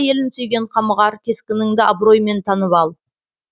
елін сүйген қамығар кескініңді абыроймен танып ал